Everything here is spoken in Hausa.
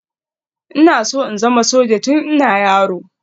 Ina so in zama soja tun ina yaro